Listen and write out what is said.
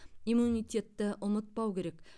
иммунитетті ұмытпау керек